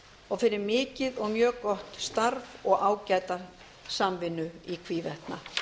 og fyrir mikið og mjög gott starf og ágæta samvinnu í hvívetna